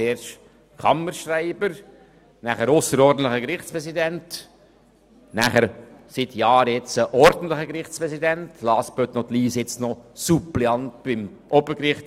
zuerst Kammerschreiber, dann ausserordentlicher Gerichtspräsident, seit Jahren ordentlicher Gerichtspräsident und nun noch Suppleant beim Obergericht.